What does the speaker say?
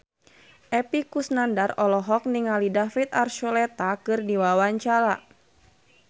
Epy Kusnandar olohok ningali David Archuletta keur diwawancara